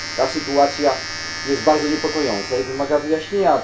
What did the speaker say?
Sytuacja ta jest bardzo niepokojąca i wymaga wyjaśnienia.